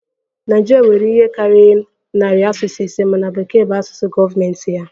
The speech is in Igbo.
Naịjirịa nwere ihe karịrị narị asụsụ ise mana Bekee bụ asụsụ gọọmentị ya